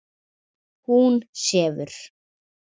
Hún sefur.